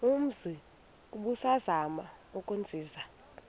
umzi ubusazema ukuzinza